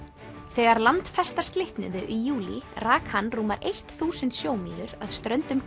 þegar landfestar slitnuðu í júlí rak hann rúmar eitt þúsund sjómílur að ströndum